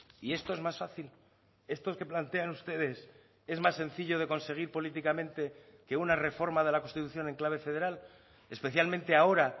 y esto es más fácil estos que plantean ustedes es más sencillo de conseguir políticamente que una reforma de la constitución en clave federal especialmente ahora